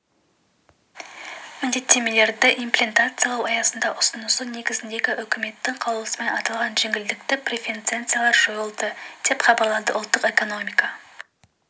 міндеттемелерді имплементациялау аясындағы ұсынысы негізіндегі үкіметтің қаулысымен аталған жеңілдікті преференциялар жойылды деп хабарлады ұлттық экономика